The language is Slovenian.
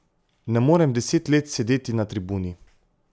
Ne morem deset let sedeti na tribuni.